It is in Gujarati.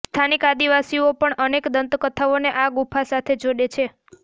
સ્થાનિક આદિવાસીઓ પણ અનેક દંતકથાઓને આ ગુફા સાથે જોડે છે